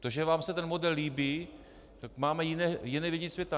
To, že vám se ten model líbí - tak máme jiné vidění světa.